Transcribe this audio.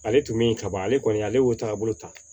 Ale tun min kaban ale kɔni ale y'o taabolo ta